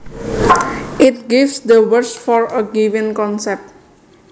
It gives the words for a given concept